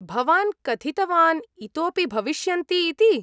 भवान् कथितवान् इतोऽपि भविष्यन्ति इति।